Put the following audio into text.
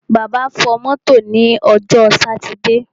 Bàbá fọ mọ́tò ní ọjọ́ sátidé.